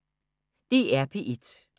DR P1